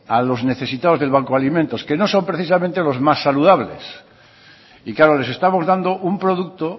a los necesitados del banco de alimentos que no son precisamente los más saludables y claro les estamos dando un producto